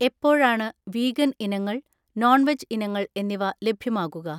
എപ്പോഴാണ് വീഗൻ ഇനങ്ങൾ, non veg ഇനങ്ങൾ എന്നിവ ലഭ്യമാകുക